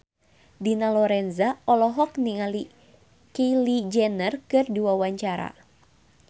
Dina Lorenza olohok ningali Kylie Jenner keur diwawancara